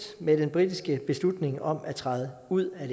med den britiske beslutning om at træde ud af